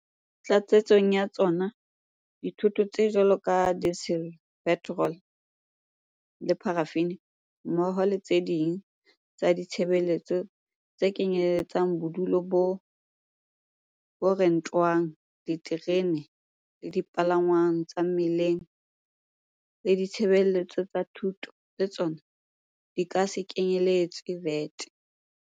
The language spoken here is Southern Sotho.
Tlatsetsong ya tsona, dithoto tse jwalo ka dizele, petorolo le parafini, mmoho le tse ding tsa ditshebeletso tse kenyelletsang bodulo bo rentwang, diterene le dipalangwang tsa mmileng le ditshebeletso tsa thuto le tsona di ka se kenyeletswe VAT.